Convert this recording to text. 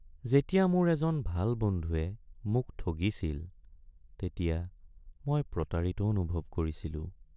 যেতিয়া মোৰ এজন ভাল বন্ধুৱে মোক ঠগিছিল তেতিয়া মই প্ৰতাৰিত অনুভৱ কৰিছিলোঁ।